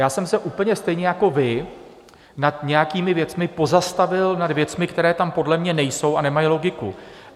Já jsem se úplně stejně jako vy nad nějakými věcmi pozastavil, nad věcmi, které tam podle mě nejsou a nemají logiku.